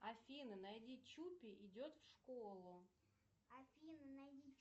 афина найди чупи идет в школу афина найди